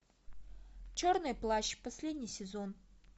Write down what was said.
черный плащ последний сезон